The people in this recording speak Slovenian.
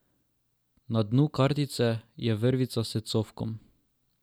Na dnu kartice je vrvica s cofkom.